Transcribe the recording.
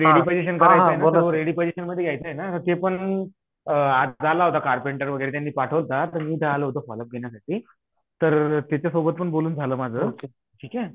ते रेडी पजेषणमध्ये घ्याच आहेना रेडी पजेषणमध्ये घ्याच आहेना ते पण अ आज होता कारपेंटर त्यांनी पाठवला होता तर मी इथे आलो होतो फॉल उप घेण्यासाठी तर त्याच्या सोबतपण बोलून झाला माझ सगळ ठीक हे